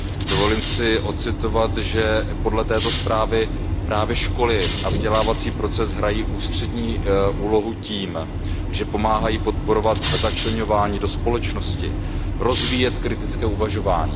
Dovolím si odcitovat, že podle této zprávy právě školy a vzdělávací proces hrají ústřední úlohu tím, že pomáhají podporovat začleňování do společnosti, rozvíjet kritické uvažování.